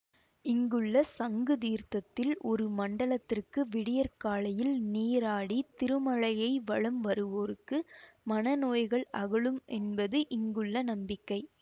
இங்குள்ள சங்கு தீர்த்தத்தில் ஒரு மண்டலத்திற்கு விடியற்காலையில் நீராடி திருமலையை வலம் வருவோருக்கு மனநோய்கள் அகலும் என்பது இங்குள்ள நம்பிக்கை